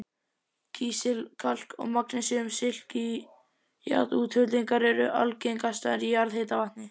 Kísil-, kalk- og magnesíum-silíkat-útfellingar eru algengastar í jarðhitavatni.